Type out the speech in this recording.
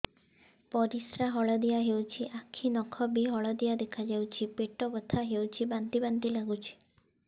ପରିସ୍ରା ହଳଦିଆ ହେଉଛି ଆଖି ନଖ ବି ହଳଦିଆ ଦେଖାଯାଉଛି ପେଟ ବଥା ହେଉଛି ବାନ୍ତି ବାନ୍ତି ଲାଗୁଛି